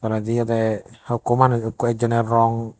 poray di aday hoko manus eko ekjonay rong.